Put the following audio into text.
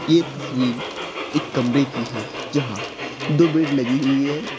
ये तस्वीर एक कमरे की है जहां दो बेड लगी हुई है।